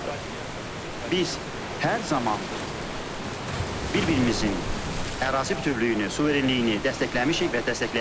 Biz hər zaman bir-birimizin ərazi bütövlüyünü, suverenliyini dəstəkləmişik və dəstəkləyirik.